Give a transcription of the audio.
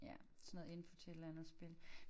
Ja sådan noget info til et eller andet spil